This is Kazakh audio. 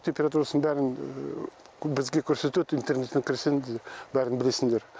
температурасын бәрін бізге көрсетеді интернеттен көрсең бәрін білесіңдер